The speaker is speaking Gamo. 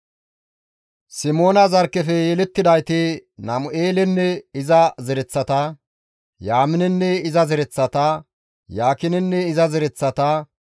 Simoona zarkkefe yelettidayti Namu7eelenne iza zereththata, Yaaminenne iza zereththata, Yaakinenne iza zereththata,